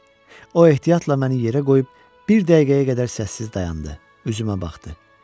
O ehtiyatla məni yerə qoyub bir dəqiqəyə qədər səssiz dayandı, üzümə baxdı.